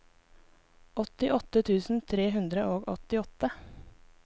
åttiåtte tusen tre hundre og åttiåtte